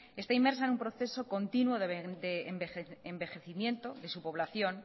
está inmersa en un proceso continuo de envejecimiento de su población